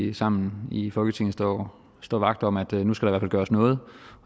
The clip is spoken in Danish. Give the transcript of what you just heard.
vi sammen i folketinget står står vagt om at nu skal der gøres noget